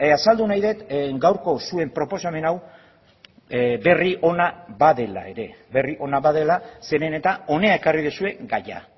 azaldu nahi dut gaurko zuen proposamen hau berri ona badela ere berri ona badela zeren eta hona ekarri duzue gaia